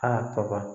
Aa kaba